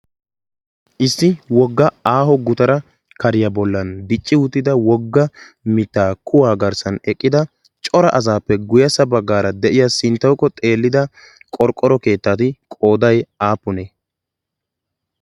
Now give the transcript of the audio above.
issi wogga aaho gutara kariyaa bollan dicci uuttida wogga mittaa kuwaa garssan eqqida cora asaappe guyassa baggaara de'iya sinttaukko xeellida qorqqoro keettati qooday aapunee?